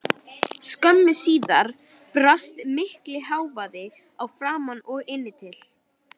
Skömmu síðar barst mikill hávaði að framan og inn til